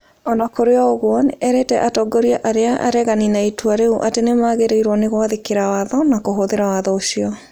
O na kũrĩ ũguo, nĩ eerire atongoria arĩa uregani na itua rĩu atĩ nĩ magĩrĩirũo nĩ gwathĩkĩra watho na kũhũthĩra watho ũcio.